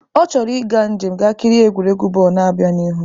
Ọ chọrọ ịga njem ga kirie egwuregwu bọọlụ na-abịa n'ihu.